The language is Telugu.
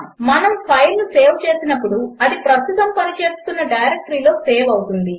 మనము ఫైల్ను సేవ్ చేసినప్పుడు అది ప్రస్తుతము పనిచేస్తున్న డైరెక్టరీలో సేవ్ అవుతుంది